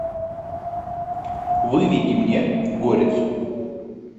выведи мне горец